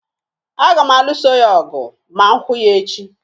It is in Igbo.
Aga m alụso ya ọgụ ma m hụ ya echi